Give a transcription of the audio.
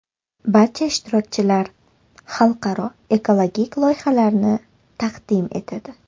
Barcha ishtirokchilar xalqaro ekologik loyihalarni taqdim etadi.